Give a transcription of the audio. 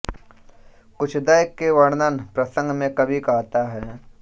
कुचद्वय के वर्णन प्रसंग में कवि कहता है